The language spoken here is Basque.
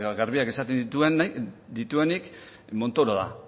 garbiak esaten dituenik montoro da